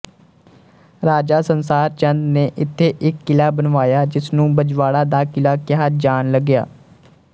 ਰਾਜਾ ਸੰਸਾਰ ਚੰਦ ਨੇ ਇਥੇ ਇੱਕ ਕਿਲਾ ਬਣਵਾਇਆ ਜਿਸਨੂੰ ਬਜਵਾੜਾ ਦਾ ਕਿਲਾ ਕਿਹਾ ਜਾਣ ਲੱਗਿਆ